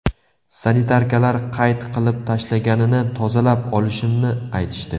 Sanitarkalar qayt qilib tashlaganini tozalab olishimni aytishdi.